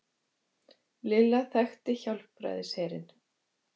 Lilla þekkti Hjálpræðisherinn.